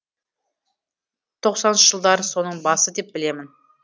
тоқсаныншы жылдар соның басы деп білемін